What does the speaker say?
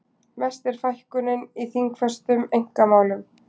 Mest er fækkunin í þingfestum einkamálum